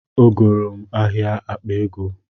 Ọ goro m ahịa akpa ego